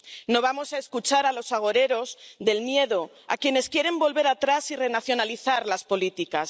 No vamos a escuchar a los agoreros del miedo, a quienes quieren volver atrás y renacionalizar las políticas.